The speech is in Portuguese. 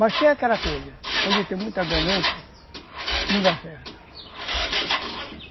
Mas tem aquela coisa, onde tem muita ganância, não dá certo.